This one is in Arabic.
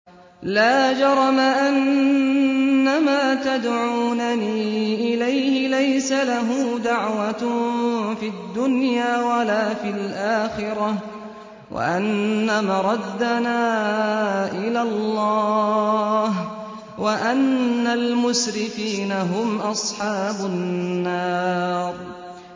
لَا جَرَمَ أَنَّمَا تَدْعُونَنِي إِلَيْهِ لَيْسَ لَهُ دَعْوَةٌ فِي الدُّنْيَا وَلَا فِي الْآخِرَةِ وَأَنَّ مَرَدَّنَا إِلَى اللَّهِ وَأَنَّ الْمُسْرِفِينَ هُمْ أَصْحَابُ النَّارِ